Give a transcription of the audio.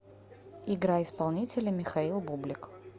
играй исполнителя михаил бублик